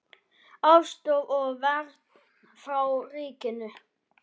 Aðstoð og vernd frá ríkinu